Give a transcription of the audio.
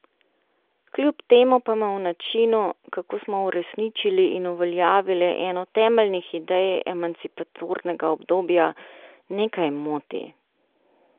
Kljub temu pa me v načinu, kako smo uresničili in uveljavili eno temeljnih idej emancipatornega obdobja, nekaj moti.